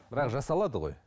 бірақ жасалады ғой